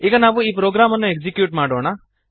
ಈಗ ನಾವು ಈ ಪ್ರೋಗ್ರಾಮನ್ನು ಎಕ್ಸೀಕ್ಯೂಟ್ ಮಾಡೋಣ